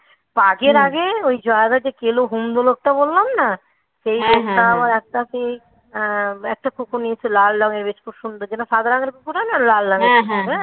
ওর আগের আগে কাজের আগে ওই জয়দাকে যে কেলো হুমদো লোকটা বললাম না সেই লোকটা একটাকে আহ একটা কুকুর নিয়েছে লাল রঙের বেশ খুব সুন্দর. যেটা সাদা রঙের খোঁড়া না লাল রঙের